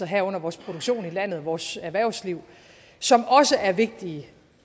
herunder vores produktion i landet vores erhvervsliv som også er vigtigt